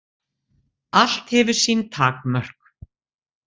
Allt hefur sín takmörk.